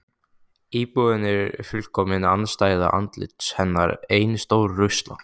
Íbúðin er fullkomin andstæða andlits hennar: Ein stór rusla